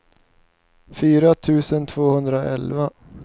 fyra tusen tvåhundraelva